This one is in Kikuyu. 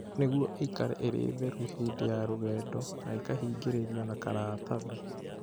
Nĩguo ĩikare ĩrĩ theru hĩndĩ ya rũgendo na ĩkahingĩrĩrio na karatathi.